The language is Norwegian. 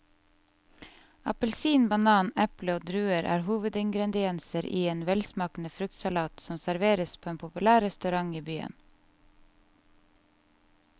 Appelsin, banan, eple og druer er hovedingredienser i en velsmakende fruktsalat som serveres på en populær restaurant i byen.